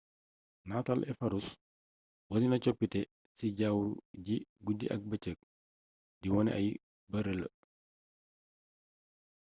nataal efararuus wonena coppite ci jawwu ji guddi ak bëcëg di wone ay bërë la